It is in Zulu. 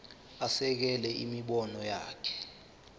asekele imibono yakhe